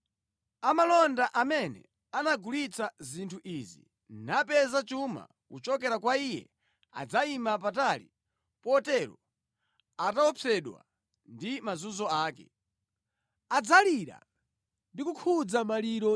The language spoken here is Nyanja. Amalonda amene anagulitsa zinthu izi napeza chuma kuchokera kwa iye adzayima patali potero ataopsedwa ndi mazunzo ake. Adzalira ndi kukhuza maliro